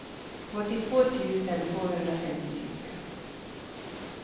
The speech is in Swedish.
åttiotvå tusen tvåhundrafemtiofyra